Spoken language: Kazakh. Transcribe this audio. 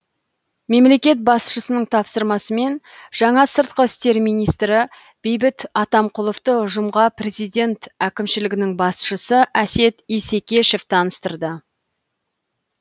мемлекет басшысының тапсырмасымен жаңа сыртқы істер министі бейбіт атамқұловты ұжымға президент әкімшілігінің басшысы әсет исекешев таныстырды